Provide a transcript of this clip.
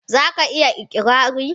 za ka iya ikirari?